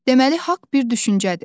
Deməli haqq bir düşüncədir.